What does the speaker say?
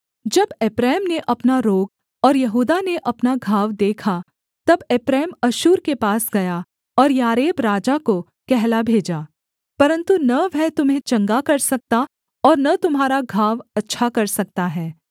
जब एप्रैम ने अपना रोग और यहूदा ने अपना घाव देखा तब एप्रैम अश्शूर के पास गया और यारेब राजा को कहला भेजा परन्तु न वह तुम्हें चंगा कर सकता और न तुम्हारा घाव अच्छा कर सकता है